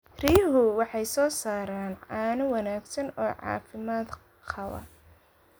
Riyuhu waxay soo saaraan caano wanaagsan oo caafimaad qaba.